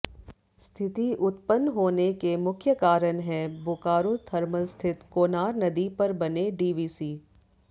स्थिति उत्पन्न होने के मुख्य कारण है बोकारो थर्मल स्थित कोनार नदी पर बने डीवीसी